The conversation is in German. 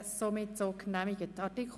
er ist so genehmigt.